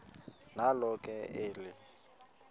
nalo ke eli